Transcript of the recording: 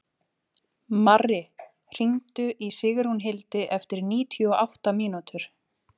Marri, hringdu í Sigrúnhildi eftir níutíu og átta mínútur.